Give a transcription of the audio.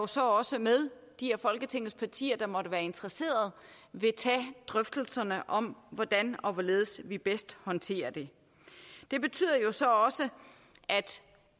så også med de af folketingets partier der måtte være interesseret vil tage drøftelserne om hvordan og hvorledes vi bedst håndterer det det betyder så også at